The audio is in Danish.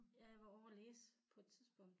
Ja jeg var ovre og læse på et tidspunkt